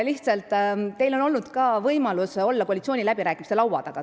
Teil on olnud ka võimalus olla koalitsiooniläbirääkimiste laua taga.